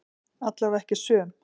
Allavega ekki söm.